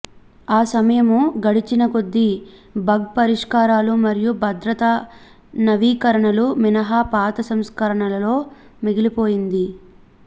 ఆ సమయము గడిచినకొద్దీ బగ్ పరిష్కారాలు మరియు భద్రతా నవీకరణలు మినహా పాత సంస్కరణలో మిగిలిపోయింది